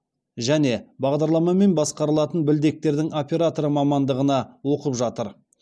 және бағдарламамен басқарылатын білдектердің операторы мамандығына оқып жатыр